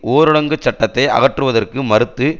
ஊரடங்கு சட்டத்தை அகற்றுவதற்கு மறுத்து